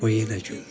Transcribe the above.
O yenə güldü.